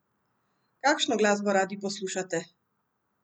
Kakšno glasbo radi poslušate?